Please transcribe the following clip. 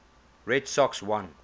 red sox won